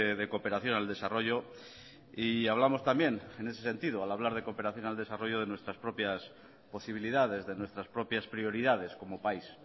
de cooperación al desarrollo y hablamos también en ese sentido al hablar de cooperación al desarrollo de nuestras propias posibilidades de nuestras propias prioridades como país